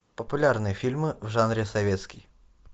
популярные фильмы в жанре советский